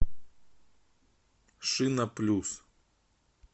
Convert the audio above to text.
шина плюс